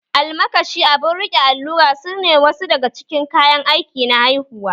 Almakashi, abun riƙe allura, sune wasu daga cikin kayan aiki na haihuwa